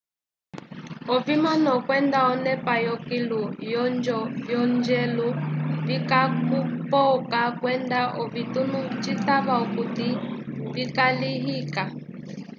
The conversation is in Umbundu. ovimano kwenda onepa yokilu yonjo vyonjelu vikakupoka kwenda ovitunu citava okut vikalihika